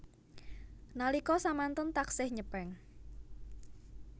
Nalika samanten taksih nyepeng